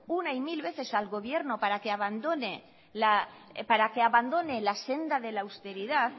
una y mil veces al gobierno para que abandone la senda de la austeridad